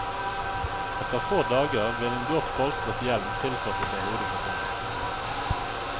Etter få dager vil en godt polstret hjelm tilpasse seg hodefasongen.